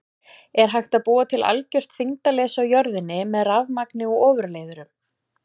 Er hægt að búa til algjört þyngdarleysi á jörðinni með rafmagni og ofurleiðurum?